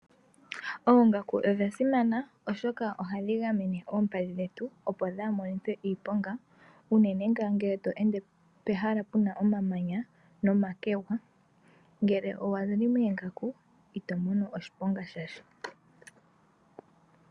Oongaku odha simana oshoka ohadhi gamene oompadhi dhetu opo dhaamonithwe iiponga unene ngele tweende pehala puna omamanya nomakwega. Ngele owuli moongaku ito mono oshiponga shasha.